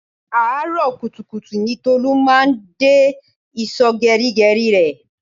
Àárọ̀ kùtùkùtù ní Tolu máa ń dé ìsò geri geri rẹ